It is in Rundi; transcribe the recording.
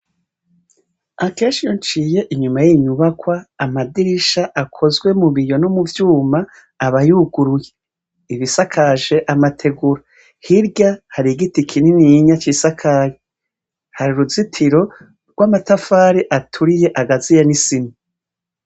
Akenshi iyo nciye inyuma yiyi nyubakwa, amadirisha akozwe mubiyo no mu vyuma aba yuguruye, ibisakaje amategura, hirya harigiti kinininya cisakaye, har’uruzitiro gw’amatafari aturiye agaziye n’isima.